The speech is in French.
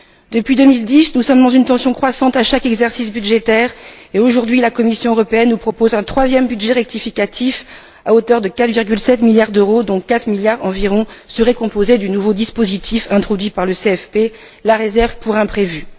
Depuis 2010, nous sommes dans une tension croissante à chaque exercice budgétaire et aujourd'hui, la Commission européenne nous propose un troisième budget rectificatif à hauteur de 4,7 milliards d'euros dont 4 milliards environ seraient composés du nouveau dispositif introduit par le CFP, la réserve pour imprévus.